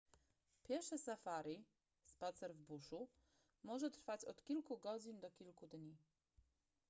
piesze safari spacer w buszu” może trwać od kilku godzin do kilku dni